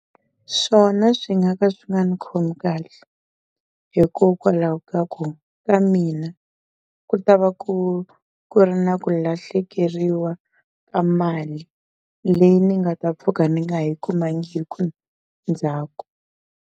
Swona swi nga ka swi nga ndzi khomi kahle hikokwalaho ka ku ka mina ku ta va ku ku ri na ku lahlekeriwa ka mali leyi ni nga ta pfuka ni nga ha yi kumangiku ndzhaku.